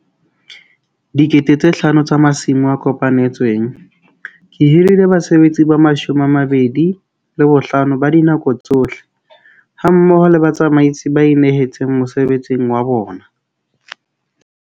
5 000 tsa masimo a kopanetsweng. Ke hirile basebetsi ba 25 ba dinako tsohle hammoho le batsamaisi ba inehetseng mosebetsing wa bona.